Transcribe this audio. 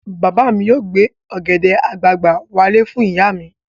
Bàbá mi yóò gbé ọ̀gẹ̀dẹ̀ àgbagbà wálé fún ìyá mi.